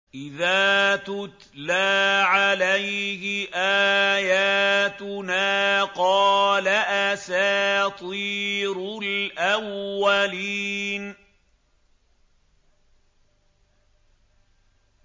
إِذَا تُتْلَىٰ عَلَيْهِ آيَاتُنَا قَالَ أَسَاطِيرُ الْأَوَّلِينَ